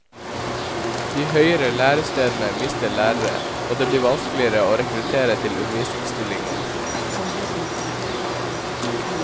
De høyere lærestedene mister lærere, og det blir vanskeligere å rekruttere til undervisningsstillinger.